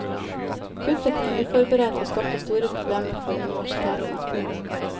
Kuttet kom uforberedt og skapte store problemer for universitetene.